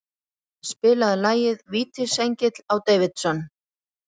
Mundi, spilaðu lagið „Vítisengill á Davidson“.